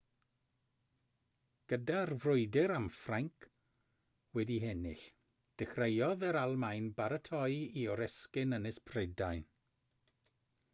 gyda'r frwydr am ffrainc wedi'i hennill dechreuodd yr almaen baratoi i oresgyn ynys prydain